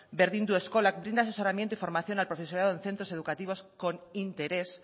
bendindu eskolak brinda asesoramiento y formación al profesorado en centros educativos con interés